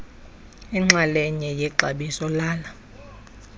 inxalenye yexabiso lala